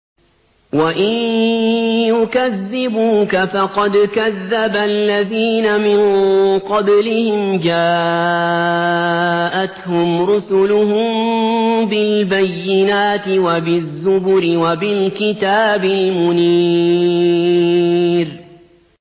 وَإِن يُكَذِّبُوكَ فَقَدْ كَذَّبَ الَّذِينَ مِن قَبْلِهِمْ جَاءَتْهُمْ رُسُلُهُم بِالْبَيِّنَاتِ وَبِالزُّبُرِ وَبِالْكِتَابِ الْمُنِيرِ